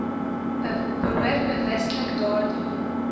behoort bewustelik daardie